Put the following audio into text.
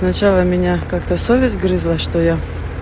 сначала меня как-то совесть грызла что я